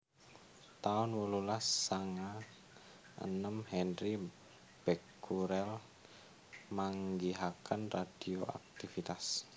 taun wolulas sanga enem Henri Becquerel manggihaken radioaktivitas